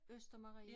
Østermarie